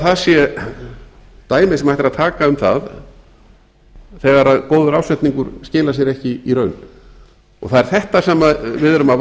það sé dæmi sem hægt er að taka um það þegar góður ásetningur skilar sér ekki í raun það er þetta sem við erum að